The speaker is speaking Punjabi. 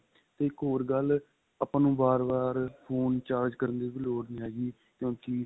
ਇੱਕ ਹੋਰ ਗੱਲ ਆਪਾਂ ਨੂੰ ਬਾਰ ਬਾਰ phone charge ਕਰਨ ਦੀ ਲੋੜ ਨੀ ਹੈਗੀ ਕਿਉਂਕਿ